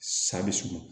Sa bɛ surun